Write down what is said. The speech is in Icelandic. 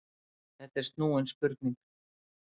Þetta er snúin spurning.